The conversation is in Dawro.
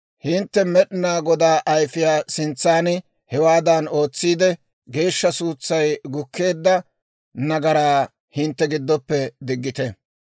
Hintte Med'inaa Godaa ayfiyaa sintsan hewaadan ootsiide, geeshsha suutsay gukkeedda nagaraa hintte giddoppe diggite.